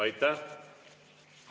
Aitäh!